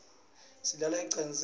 silala ecansini